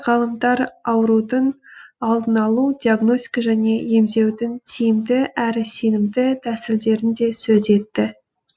ғалымдар аурудың алдын алу диагностика және емдеудің тиімді әрі сенімді тәсілдерін да сөз етті